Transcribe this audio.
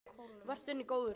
Vertu henni góður.